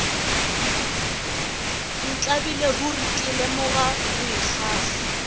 ntlabile ruri ke leboga boikgafo